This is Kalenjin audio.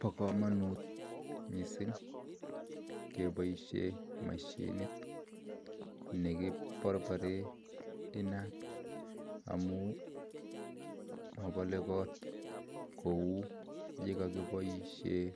Pakamunut missing kepaisheen mashinit nekiparparee inaat amun mapalee kot kouu yikakipaisheen